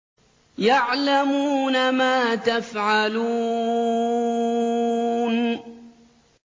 يَعْلَمُونَ مَا تَفْعَلُونَ